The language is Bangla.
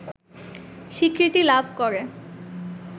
স্বীকৃতি লাভ করে